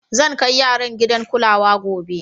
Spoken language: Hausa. Zan kai yaran gidan kulawa gobe.